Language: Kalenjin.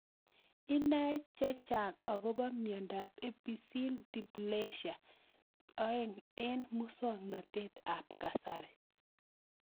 Inae chechang' akopo miondop epiphyseal dysplasia 2 eng' muswog'natet ab kasari